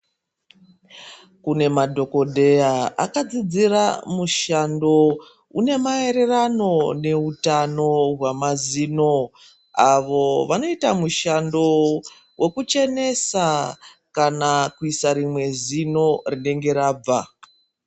Kune madhokodheya akadzidzira mushando une maererano neutano hwemazino avo vanoita mushando wekuchenesa kana kuisa rimwe zino rinenge rabva.